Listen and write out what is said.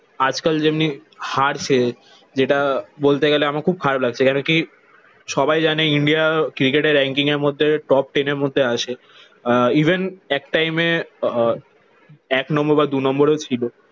আজকাল যেমনি হারছে যেটা বলতে গেলে আমার খুব খারাপ লাগছে। কেন কি? সবাই জানে ইন্ডিয়া ক্রিকেটে রেঙ্কিং এর মধ্যে top ten এর মধ্যে আসে। আহ ইভেন এক টাইমে আহ এক নম্বর বা দু নম্বরেও ছিল।